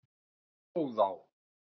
Fróðá